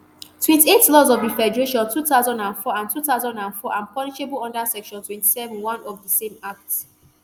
ftwenty-eight laws of di federation two thousand and four and two thousand and four and punishable under section twenty-seven oneb of di same act